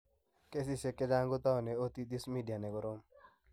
Kesishek chechang' kotaune otitis media ne korom.